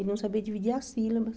Ele não sabia dividir as sílabas.